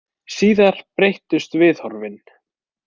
Síðar breyttust viðhorfin.